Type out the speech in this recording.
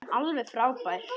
Hún er alveg frábær.